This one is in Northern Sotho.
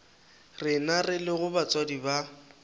rena re lego batswadi ba